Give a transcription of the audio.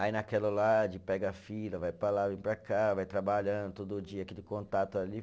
Aí naquela lá de, pega fila, vai para lá, vem para cá, vai trabalhando todo dia, aquele contato ali.